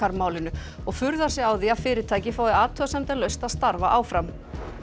málinu og furðar sig á því að fyrirtækið fái athugasemdalaust að starfa áfram